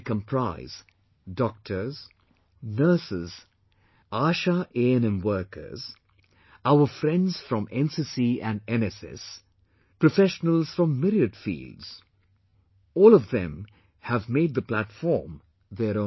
They comprise Doctors, Nurses, ASHAANM workers, our friends from NCC and NSS, professionals from myriad fields...all of them have made the platform their own